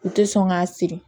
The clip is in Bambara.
U tɛ sɔn k'a siri